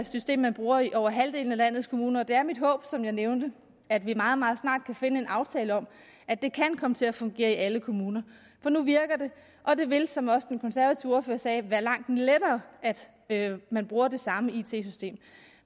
system man bruger i over halvdelen af landets kommuner og det er mit håb som jeg nævnte at vi meget meget snart kan finde en aftale om at det kan komme til at fungere i alle kommuner for nu virker det og det vil som også den konservative ordfører sagde være langt lettere at man bruger det samme it system